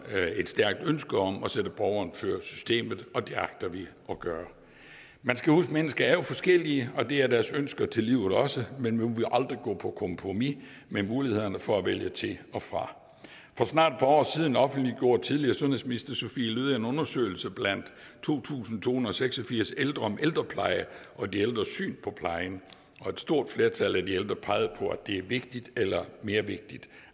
har et stærkt ønske om at sætte borgeren før systemet og det agter vi at gøre man skal huske at mennesker er forskellige og det er deres ønsker til livet også men vi vil aldrig gå på kompromis med mulighederne for at vælge til og fra for snart et par år siden offentliggjorde tidligere sundhedsminister sophie løhde en undersøgelse blandt to tusind to hundrede og seks og firs ældre om ældrepleje og de ældres syn på plejen og et stort flertal af de ældre pegede på at det er vigtigt eller mere vigtigt